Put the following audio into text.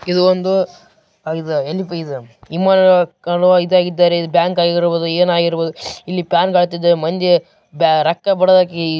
ಇದು ಒಂದು ಏನಪ್ಪ ಅಂದರೆ ಹೆಣ್ಣುಮಕ್ಕಳು ಇದ್ದಾರೆ ಇದು ಬ್ಯಾಂಕ್‌ ಆಗಿರಬಹುದು ಏನಾಗಿರಬಹುದು ಇಲ್ಲಿ ಪ್ಯಾನ ಕಾಣುತಿದೆ ಮಂದಿ ರೊಕ್ಕಾ ಬರುದೇಕೆ.